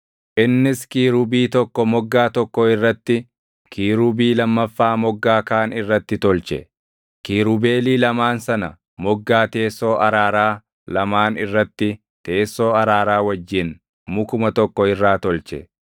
Innis Kiirubii tokko moggaa tokko irratti, Kiirubii lammaffaa moggaa kaan irratti tolche; kiirubeelii lamaan sana moggaa teessoo araaraa lamaan irratti teessoo araaraa wajjin mukuma tokko irraa tolche.